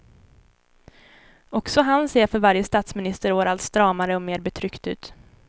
Också han ser för varje statsministerår allt stramare och mer betryckt ut.